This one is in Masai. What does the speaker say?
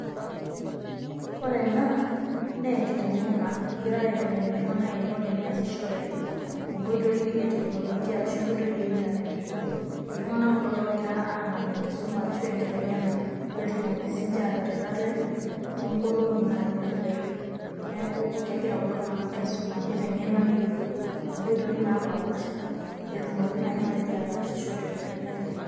Ore ena nee enkiteng'ena egirai aiteng'en iltung'anak eniko teneasishore nkoitoi e teknolojia arashu nkoitoi e intanet. Iltung'anak kulo loogira aang'amu enkisuma arashu enkiteng'ena peetumoki siinje ataret ate too nkolong'i natii dukuya. Neeku kegira kulo tung'anak aisuma niteng'ena neyolou nkoitoi napaapaasha pee etumoki nai matejo ataasisho te nkoitoi naje.